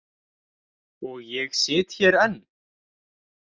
Og ég sit hér enn.